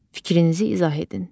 Fikrinizi izah edin.